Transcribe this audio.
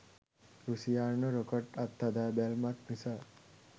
රුසියානු rocket අත්හදාබැලීමක් නිසා